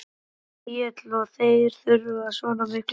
Egill: Og þeir þurfa svona mikla orku?